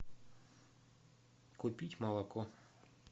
купить молоко